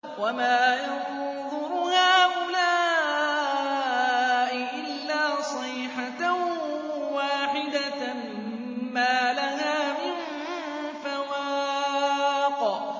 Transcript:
وَمَا يَنظُرُ هَٰؤُلَاءِ إِلَّا صَيْحَةً وَاحِدَةً مَّا لَهَا مِن فَوَاقٍ